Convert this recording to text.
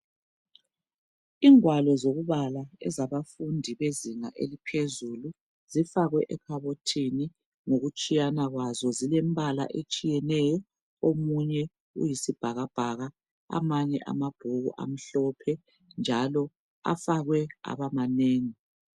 Ingwalo zokubala zabafundi bezinga eliphezulu zifakwe ekhabothini ngokutshiyana kwazo zilembala etshiyeneyo omunye uyisibhakabhaka amanye amabhuku amhlophe njalo afakwe aba manengi.